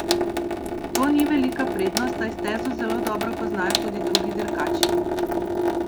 To ni velika prednost, saj stezo zelo dobro poznajo tudi drugi dirkači.